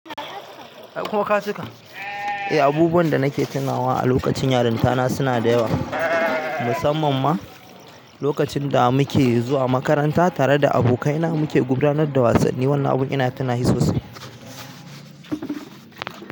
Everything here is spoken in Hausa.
Eh, abubuwan da nake tunawa a lokacin yarintana suna da yawa. Mussaman ma lokacin da muke zuwa makaranta tare da abokanai na muke gudanar da wasanni. Wannan abun ina tunashi sosai.